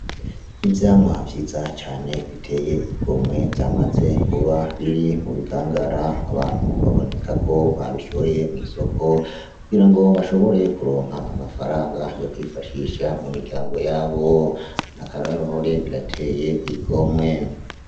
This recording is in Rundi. Ivyamwa vyiza cane biteye igomwe vyamaze kuba biri mu bikangara abantu baboneka ko babishoye mw'isoko kugira ngo bashobore kuronka amafaranga yo kwifashisha mu miryango yabo, ni akaroruhore birateye igomwe.